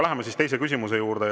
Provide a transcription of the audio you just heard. Läheme teise küsimuse juurde.